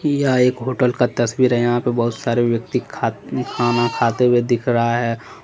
यह एक होटल का तस्वीर है यहां पे बहुत सारे व्यक्ति खात खाना खाते हुए दिख रहा है।